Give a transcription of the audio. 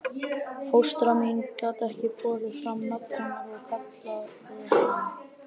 Fóstra mín gat ekki borið fram nafn hennar og kallaði hana